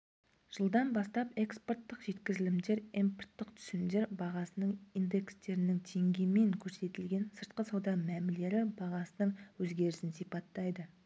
жылдан бастап экспорттық жеткізілімдер импорттық түсімдер бағасының индекстері теңгемен көрсетілген сыртқы сауда мәмілері бағасының өзгерісін сипаттайды